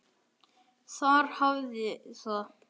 Þar hafiði það.